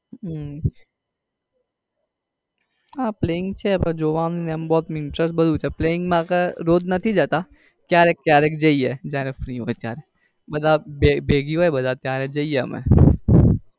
હમ હા planning છે હા પણ જોવા માં ને એમ interest ને બધું છે planning માં અગર રોજ નથી જતા ક્યારેક ક્યારેક જઈએ જયારે free હોય ત્યારે જઈએ બધા ભેગી ભેગી બધા હોય ત્યારે જઈએ.